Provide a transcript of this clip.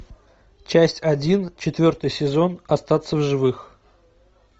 часть один четвертый сезон остаться в живых